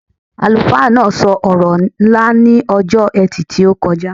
Àlùfáà náà so ọ̀rọ̀ ńlá ní ọjọ́ etì tí o kọjá